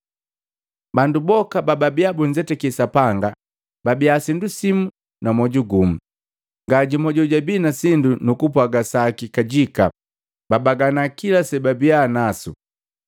Bandu boka bababia bunzetaki Sapanga babii sindu simu na moju gumu. Ngajumu jojabii na sindu nukupwaga saki kajika, babaganaa kila sebabia nasu.